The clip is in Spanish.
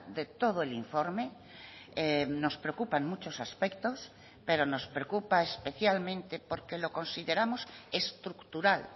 de todo el informe nos preocupan muchos aspectos pero nos preocupa especialmente porque lo consideramos estructural